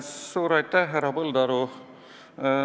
Suur aitäh, härra Põldaru!